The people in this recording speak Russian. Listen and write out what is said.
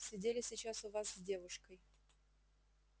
сидели сейчас у вас с девушкой